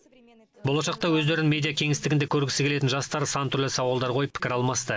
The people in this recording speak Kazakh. болашақта өздерін медиа кеңістігінде көргісі келетін жастар сан түрлі сауалдар қойып пікір алмасты